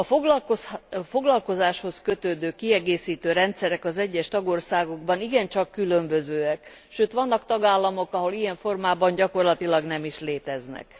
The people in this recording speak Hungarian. A foglalkozáshoz kötődő kiegészítő rendszerek az egyes tagországokban igencsak különbözőek, sőt vannak tagállamok, ahol ilyen formában gyakorlatilag nem is léteznek.